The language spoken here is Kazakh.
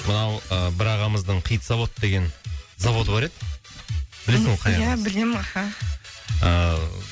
мынау ы бір ағамыздың хит завод деген заводы бар еді білесің ғой қай ағасының ия білем аха ыыы